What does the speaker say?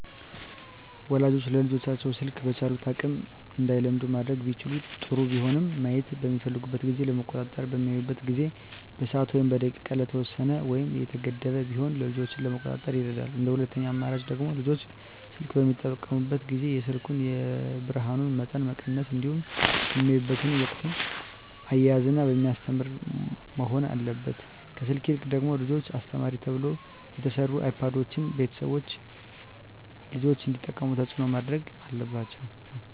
ወላጆች ልጆቻቸውን ስልክ በቻሉት አቅም እንዳይለምዱ ማድረግ ቢችሉ ጥሩ ቢሆንም ማየት በሚፈልጉበት ጊዜ ለመቆጣጠር በሚያዩበት ጊዜ በሰዓት ወይም በደቂቃ የተወሰነ ወይም የተገደበ ቢሆን ልጆችን ለመቆጣጠር ይረዳል እንደ ሁለተኛ አማራጭ ደግሞ ልጆች ስልክ በሚጠቀሙበት ጊዜ የስልኩን የብርሀኑን መጠን መቀነስ እንዲሁም በሚያዩበት ወቅትም እያዝናና በሚያስተምር መሆን አለበት ከስልክ ይልቅ ደግሞ ለልጆች አስተማሪ ተብለው የተሰሩ አይፓዶችን ቤተሰቦች ልጆች እንዲጠቀሙት ተፅዕኖ ማድረግ አለባቸው።